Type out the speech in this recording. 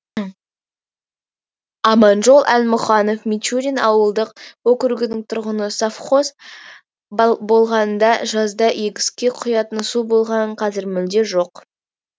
аманжол әлмұханов мичурин ауылдық округінің тұрғыны совхоз болғанда жазда егіске құятын су болған қазір мүлде жоқ